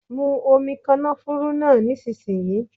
Mu omi kànáfùrú náà nísinsìnyí.